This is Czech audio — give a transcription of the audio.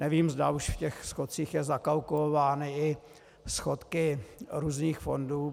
Nevím, zda už v těch schodcích jsou zakalkulovány i schodky různých fondů.